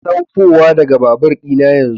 Saukowa daga babur ɗina yanzu